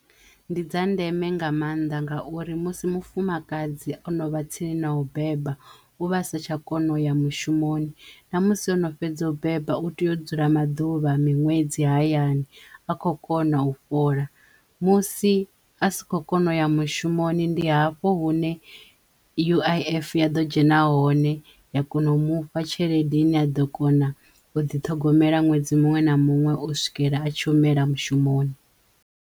Ndi dza ndeme nga mannḓa ngauri musi mufumakadzi o no vha tsini no u beba u vha sa tsha kona uya mushumoni na musi ono fhedza u beba u teyo dzula maḓuvha miṅwedzi hayani a khou kona u fhola musi a si kho kona u ya mushumoni ndi hafho hune U_I_F ya ḓo dzhena hone ya kona u mufha tshelede i ne a ḓo kona u ḓiṱhogomela ṅwedzi muṅwe na muṅwe u swikela a tshi humela mushumoni.